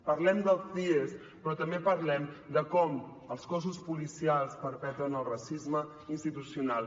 parlem dels cies però també parlem de com els cossos policials perpetuen el racisme institucional